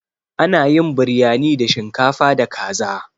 Ana yin Biryani da shinkafa da kaza.